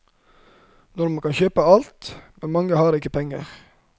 Nå kan man kjøpe alt, men mange har ikke penger.